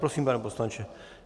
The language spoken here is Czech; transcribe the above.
Prosím, pane poslanče.